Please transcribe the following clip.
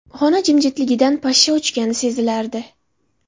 Xona jimjitligidan pashsha uchgani sezilardi.